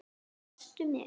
Sástu mig?